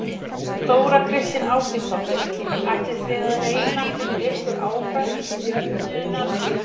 Þóra Kristín Ásgeirsdóttir: Ætlið þið að reyna fyrir ykkur áfram í stjórnunarstörf fyrir Freyju?